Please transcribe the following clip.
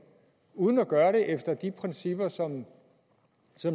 uden at gøre det efter de principper som